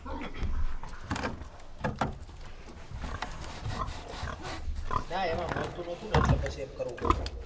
ના એમાં મળતું નતું ને એટલે પછી એમ કરવું પયડુ.